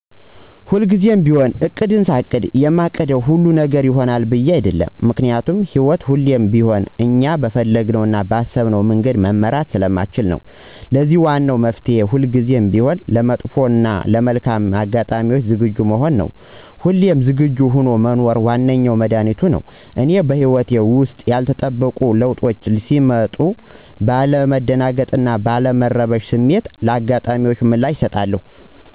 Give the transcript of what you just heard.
ሁልጊዜም ቢሆን እቅድን ሳቅድ የማቅደው ሁሉ ነገር ይሆናል ብዬ አይደለም። ምክንያቱም ህይወት ሁሌም ቢሆን እኛ በፈለግናት እና ባሰብናት መንገድ መምራት ስለማንችል ነው። ለዚህም ዋና መፍትሔ ሁልጊዜም ቢሆን ለመጥፎ ሆነ ለመልካም አጋጣሚዎች ዝግጁ መሆን ነው። ሁሌም ዝግጁ ሆኖ መኖር ዋነኛው መድኃኒቱቱ ነው። እኔም በህይወቴ ውስጥ ያልተጠበቁ ለዉጦች ሲመጡ ባለ መደናገጥ እና ባለ መረበሽ ስሜትን ለአጋጣሚዎች ምላሽን አሰጣለሁ።